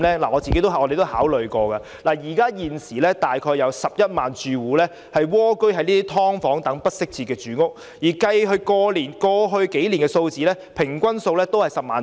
我們也曾考慮，現時大概有11萬個住戶蝸居於"劏房"等不適切住房，連同過去數年的數字，平均數約為10萬。